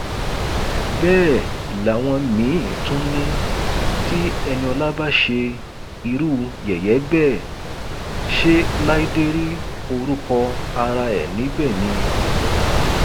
bẹẹ làwọn míín tún ni tí eniola bá ṣe irú yẹyẹ bẹẹ ṣe láìdé rí orúkọ ara ẹ níbẹ ni